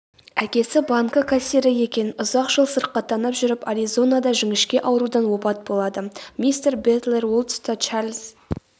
әкесі банкі кассирі екен ұзақ жыл сырқаттанып жүріп аризонада жіңішке аурудан опат болады мистер бэтлер ол тұста чарльз